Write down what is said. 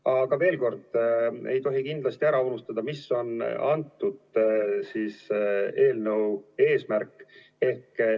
Aga veel kord, ei tohi kindlasti ära unustada, mis on antud eelnõu eesmärk.